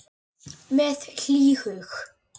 Með hlýhug.